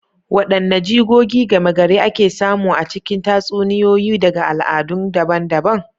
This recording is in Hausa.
Wadanne jigogi gama gari ake samu a cikin tatsuniyoyi daga al'adu daban-daban?